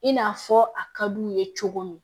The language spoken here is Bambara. I n'a fɔ a ka d'u ye cogo min